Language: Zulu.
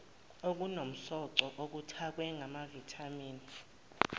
okunomsoco okuthakwe ngamavithamini